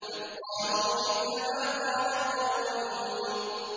بَلْ قَالُوا مِثْلَ مَا قَالَ الْأَوَّلُونَ